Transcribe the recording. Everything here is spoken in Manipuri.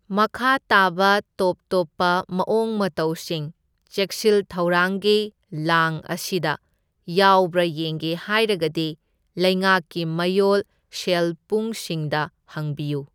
ꯃꯈꯥ ꯇꯥꯕ ꯇꯣꯞ ꯇꯣꯞꯄ ꯃꯑꯣꯡ ꯃꯇꯧꯁꯤꯡ ꯆꯦꯛꯁꯤꯜ ꯊꯧꯔꯥꯡꯒꯤ ꯂꯥꯡ ꯑꯁꯤꯗ ꯌꯥꯎꯕ꯭ꯔꯥ ꯌꯦꯡꯒꯦ ꯍꯥꯏꯔꯒꯗꯤ ꯂꯩꯉꯩꯛꯀꯤ ꯃꯌꯣꯜ ꯁꯦꯜꯄꯨꯡꯁꯤꯡꯗ ꯍꯪꯕꯤꯌꯨ꯫